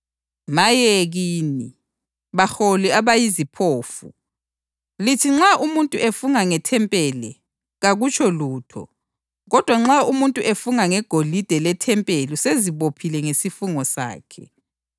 Maye kini, baholi abayiziphofu! Lithi, ‘Nxa umuntu efunga ngethempeli kakutsho lutho; kodwa nxa umuntu efunga ngegolide lethempeli usezibophile ngesifungo sakhe.’